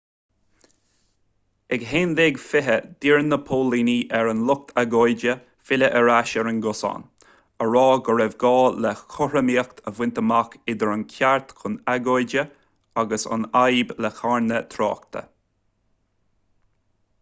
ag 11:20 d'iarr na póilíní ar an lucht agóide filleadh ar ais ar an gcosán á rá go raibh gá le cothromaíocht a bhaint amach idir an ceart chun agóide agus an fhadhb le carnadh tráchta